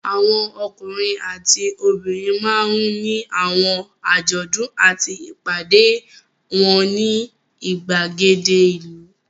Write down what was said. Àwọn ọkùnrin àti obìnrin máa ń ní àwọn àjọ̀dún àti ìpàdé wọn ní ìgbàgede ìlú.